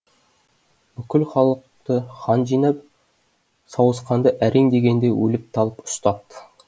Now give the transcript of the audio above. бүкіл халықты хан жинап сауысқанды әрең дегенде өліп талып ұстапты